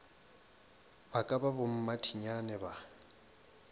ba ka ba bommathinyane ba